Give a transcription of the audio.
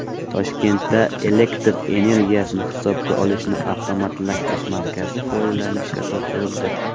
Toshkentda elektr energiyasini hisobga olishni avtomatlashtirish markazi foydalanishga topshirildi.